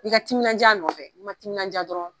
I ka timinanj'a nɔfɛ n'i ma timininanja dɔrɔn